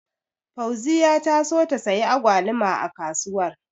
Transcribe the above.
Fauziya ta so ta siyi Agwaluma a kasuwar.